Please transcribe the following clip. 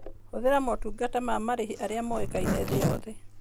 Hũthĩra motungata ma marĩhi arĩa moĩkaine thĩ yothe.